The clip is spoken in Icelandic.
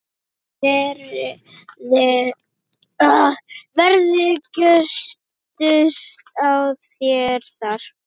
Verður gustur á þér þar?